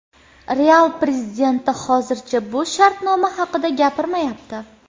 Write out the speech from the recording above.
Real prezidenti hozircha bu shartnoma haqida gapirmayapti.